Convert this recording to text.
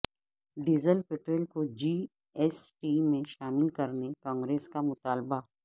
diesel petrol کو G S T میں شامل کرنے کانگریس کا مطالبہ